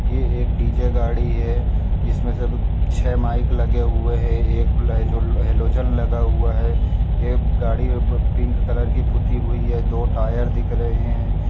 ये एक डी.जे गाड़ी है जिसमें सब छे माइक लगे हुए है एक उल हैलो हैलोजन लगा हुआ है ये गाड़ी में प पिंक कलर की पुती हुई है दो टायर दिख रहे हैं।